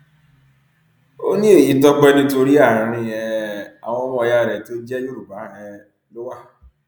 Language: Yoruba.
ó ní èyí tọpẹ nítorí àárín um àwọn ọmọ ìyá rẹ tó jẹ yorùbá um ló wà